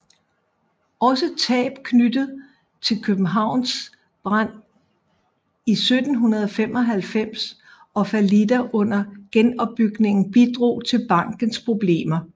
Også tab knyttet til Københavns brand i 1795 og fallitter under genopbygningen bidrog til bankens problemer